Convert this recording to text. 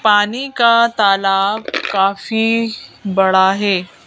पानी का तालाब काफी बड़ा है।